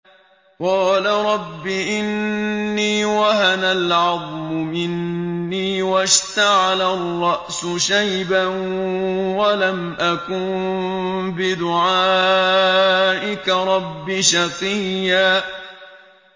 قَالَ رَبِّ إِنِّي وَهَنَ الْعَظْمُ مِنِّي وَاشْتَعَلَ الرَّأْسُ شَيْبًا وَلَمْ أَكُن بِدُعَائِكَ رَبِّ شَقِيًّا